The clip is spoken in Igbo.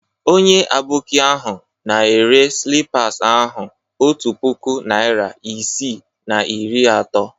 Onye Aboki ahụ na-ere slippas ahụ otu puku naịra isii na iri atọ.